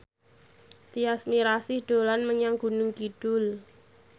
Tyas Mirasih dolan menyang Gunung Kidul